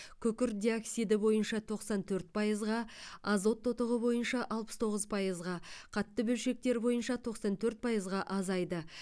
күкірт диоксиді бойынша тоқсан төрт пайызға азот тотығы бойынша алпыс тоғыз пайызға қатты бөлшектер бойынша тоқсан төрт пайызға азайды